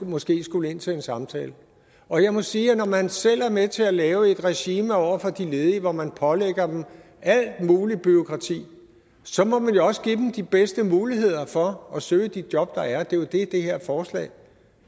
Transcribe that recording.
måske skulle ind til en samtale og jeg må sige at når man selv er med til at lave et regime over for de ledige hvor man pålægger dem alt muligt bureaukrati så må man jo også give dem de bedste muligheder for at søge de job der er og det er jo det som det her forslag